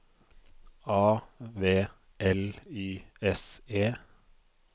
A V L Y S E